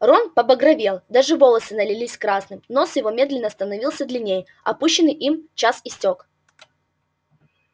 рон побагровел даже волосы налились красным нос его медленно становился длиннее отпущенный им час истёк